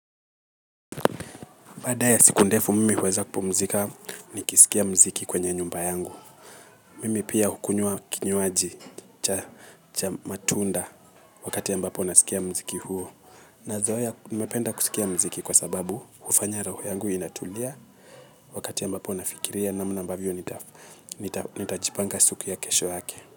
Baada ya siku ndefu mimi huweza kupumzika ni kisikia mziki kwenye nyumba yangu. Mimi pia hukunywa kinywaji cha matunda wakati ambapo nasikia mziki huo. Na zoea mpenda kusikia mziki kwa sababu ufanya roho yangu inatulia wakati ambapo nafikiria namna mbavyo nitajipanga siku ya kesho yake.